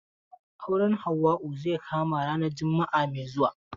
Auren Hauwa zai kama ranar juma'a mai zuwa.